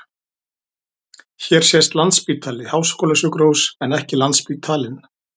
Hér sést Landspítali- háskólasjúkrahús en ekki Landsspítalinn.